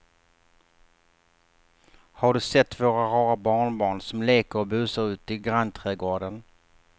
Har du sett våra rara barnbarn som leker och busar ute i grannträdgården!